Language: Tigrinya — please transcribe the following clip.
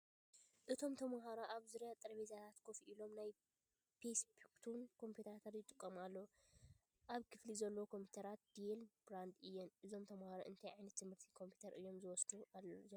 እቶም ተምሃሮ ኣብ ዙርያ ጠረጴዛታት ኮፍ ኢሎም ናይ ዴስክቶፕ ኮምፒዩተራት ይጥቀሙ ኣለዉ። ኣብ ክፍሊ ዘለዋ ኮምፒዩተራት DELL brand እየን። እዞም ተምሃሮ እንታይ ዓይነት ትምህርቲ ኮምፒተር እዮም ዝወስዱ ዘለዉ?